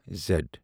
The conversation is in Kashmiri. زیٚڈ